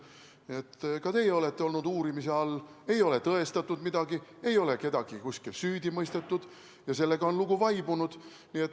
Nii et ka teie olete olnud uurimise all, ei ole tõestatud midagi, ei ole kedagi kuskil süüdi mõistetud ja sellega on lugu vaibunud.